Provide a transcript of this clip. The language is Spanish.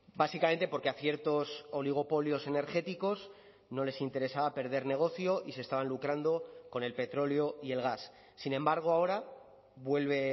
básicamente porque a ciertos oligopolios energéticos no les interesaba perder negocio y se estaban lucrando con el petróleo y el gas sin embargo ahora vuelve